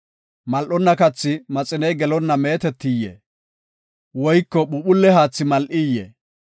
Mal7onna kathi maxiney gelonna meetetiyee? Woyko phuuphulle haathi mal7iyee?